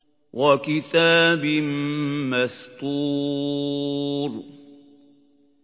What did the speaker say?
وَكِتَابٍ مَّسْطُورٍ